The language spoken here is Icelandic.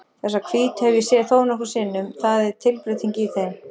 Þessar hvítu hef ég séð þónokkrum sinnum, það er tilbreyting í þeim.